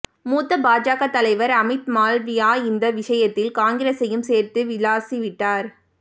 மூத்த பாஜக தலைவர் அமித் மால்வியா இந்த விஷயத்தில் காங்கிரசையும் சேர்த்து விளாசி விட்டார்